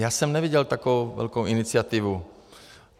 Já jsem neviděl takovou velkou iniciativu.